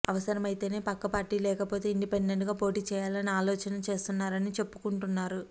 అవసరమైతే పక్క పార్టీ లేకపోతే ఇండిపెండెంట్గా పోటీ చేయాలని ఆలోచన చేస్తున్నారని చెప్పుకుంటున్నారు